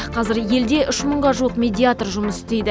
қазір елде үш мыңға жуық медиатор жұмыс істейді